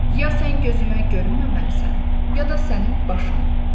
Ya sən gözümə görünməməlisən, ya da sənin başın.